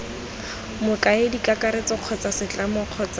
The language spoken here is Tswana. mokaedi kakaretso kgotsa setlamo kgotsa